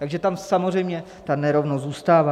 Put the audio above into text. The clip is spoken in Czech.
Takže tam samozřejmě ta nerovnost zůstává.